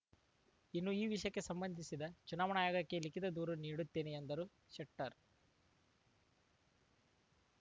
ಇನ್ನು ಈ ವಿಷಯಕ್ಕೆ ಸಂಬಂಧಿಸಿದ ಚುನಾವಣಾ ಆಯೋಗಕ್ಕೆ ಲಿಖಿತ ದೂರು ನೀಡುತ್ತೇನೆ ಎಂದರು ಶೆಟ್ಟರ್‌